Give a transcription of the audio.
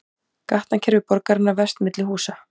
Gatnakerfi borgarinnar vefst milli húsa